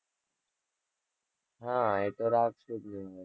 હા એ તો રાખ્સું જ ને